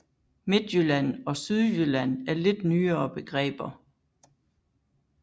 Midtjylland og Sydjylland er lidt nyere begreber